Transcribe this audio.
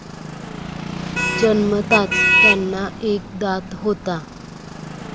जन्मताच त्यांना एक दात होता.